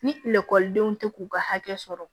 Ni lakɔlidenw tɛ k'u ka hakɛ sɔrɔ